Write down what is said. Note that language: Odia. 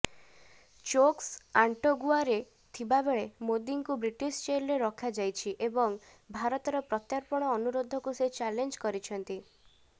ଚୋକ୍ସି ଆଣ୍ଟିଗୁଆରେ ଥିବାବେଳେ ମୋଦୀଙ୍କୁ ବ୍ରିଟିଶ ଜେଲରେ ରଖାଯାଇଛି ଏବଂ ଭାରତର ପ୍ରତ୍ୟର୍ପଣ ଅନୁରୋଧକୁ ସେ ଚ୍ୟାଲେଞ୍ଜ କରିଛନ୍ତି